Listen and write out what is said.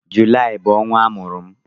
Julaị bụ ọnwa amụrụ m